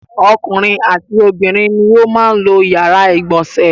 Ọkùnrin àti obìnrin ni ó máa ń lo ìyàrá-ìgbọ̀nsẹ̀.